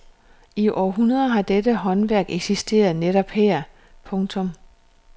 I århundreder har dette håndværk eksisteret netop her. punktum